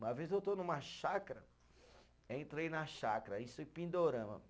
Uma vez eu estou numa chácara, entrei na chácara, isso em Pindorama.